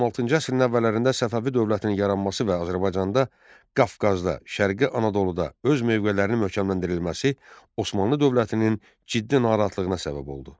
16-cı əsrin əvvəllərində Səfəvi dövlətinin yaranması və Azərbaycanda, Qafqazda, Şərqi Anadoluda öz mövqelərinin möhkəmləndirilməsi Osmanlı dövlətinin ciddi narahatlığına səbəb oldu.